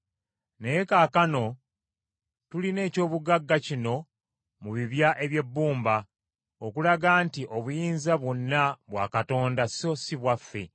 Naye kaakano tulina ekyobugagga kino mu bibya eby’ebbumba, okulaga nti obuyinza bwonna bwa Katonda, so si bwaffe.